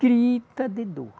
Grita de dor.